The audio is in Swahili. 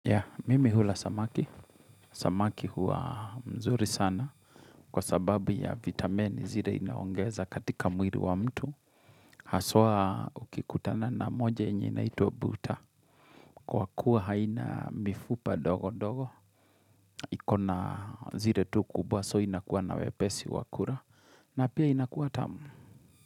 Ya, mimi hula samaki. Samaki huwa mzuri sana kwa sababu ya vitamini zire inaongeza katika mwiri wa mtu. Haswa ukikutana na moja yenye inaitwa mbuta. Kwa kuwa haina mifupa dogo dogo. Ikona zire tu kubwa so inakuwa na wepesi wakura. Na pia inakuwa tamu.